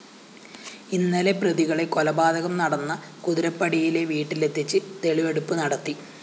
ഇന്നലെ പ്രതികളെ കൊലപാതകം നടന്ന കുതിരപ്പടിയിലെ വീട്ടിലെത്തിച്ച് തെളിവെടുപ്പ് നടത്തി